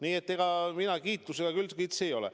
Nii et mina kiitusega kitsi ei ole.